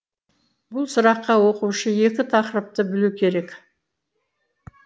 бұл сұраққа оқушы екі тақырыпты білу керек